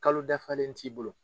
Kalo dafalen t'i bolo.